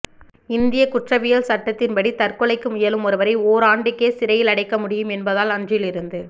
இந்தியக் குற்றவியல் சட்டத்தின்படி தற்கொலைக்கு முயலும் ஒருவரை ஓராண்டுக்கே சிறையிலடைக்க முடியும் என்பதால் அன்றிலிருந்து